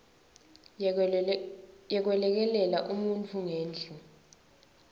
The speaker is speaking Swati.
yekwelekelela umuntfu ngendlu